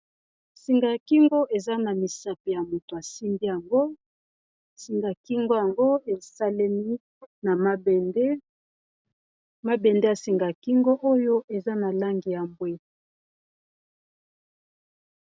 Singa ya kingo eza na misapi ya moto asimbi yango singa ya kingo yango esalemi na mabende mabende ya singa kingo oyo eza na langi ya mbwe